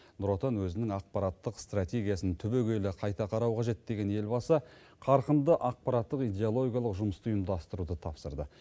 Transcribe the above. нұр отан өзінің ақпараттық стратегиясын түбегейлі қайта қарауы қажет деген елбасы қарқынды ақпараттық идеологиялық жұмысты ұйымдастыруды тапсырды